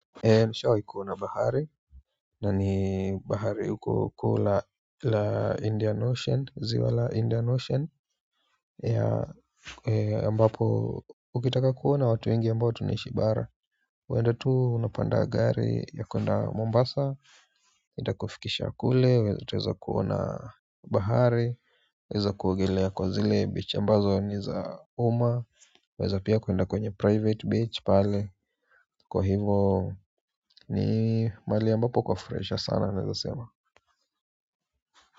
Nishawai kuona bahari na ni bahari huko kuu la la Indian Ocean ziwa la Indian Ocean ya ambapo ukitaka kuona watu wengi ambao tunaishi bara waenda tu unapanda gari ya kwenda Mombasa itakufikisha kule, utaweza kuona bahari weza kuogelea kwa zile beach ambazo ni za umma waeza pia kuenda kwenye private beach pale kwa hivyo ni mali ambapo kwa furahisha sana naeza sema.